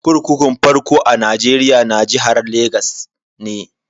Kurkukun farko a Nigeria na jihar Legas ne.